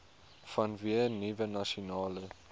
vanweë nuwe nasionale